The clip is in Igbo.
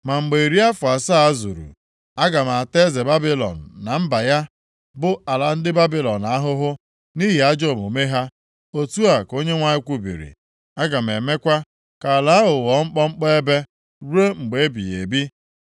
“Ma mgbe iri afọ asaa zuru, aga m ata eze Babilọn na mba ya, bụ ala ndị Babilọn, ahụhụ nʼihi ajọ omume ha,” otu a ka Onyenwe anyị kwubiri, “Aga m emekwa ka ala ahụ ghọọ mkpọmkpọ ebe ruo mgbe ebighị ebi.